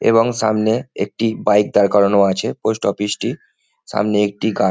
এবং সামনে একটি বাইক দাঁড় করানো আছে পোস্ট অফিস টি সামনে একটি গা।